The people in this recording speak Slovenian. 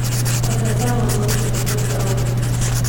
A se je vseeno odločil za pot z avtom.